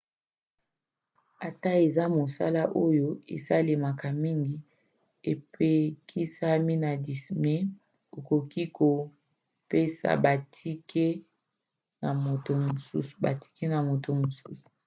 atako eza mosala oyo esalemaka mingi epekisami na disney: okoki te kopesa batike na moto mosusu